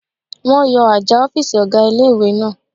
Wọ́n yọ àjà ọ̀fìsì ọ̀gá ilé-ìwé náà